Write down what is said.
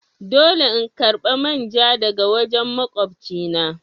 Dole in karba main ja daga wajen makwabci na.